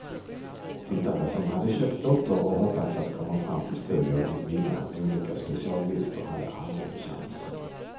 Tittare som hade köpt lotter och hoppats att komma fram till studion och vinna olika specialvinster hade aldrig en chans.